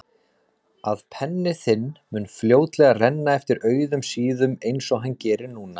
Að penni þinn mun fljótlega renna eftir auðum síðum einsog hann gerir núna.